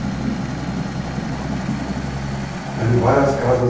Mas eles tinham várias casas? Como é que era? Eram várias